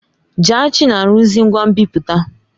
Jaachi na-arụzi ngwa nbipute.